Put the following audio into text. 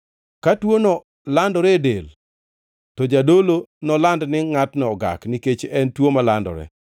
Ka tuono landore e del, to jadolo noland ni ngʼatno ogak; nikech en tuo malandore.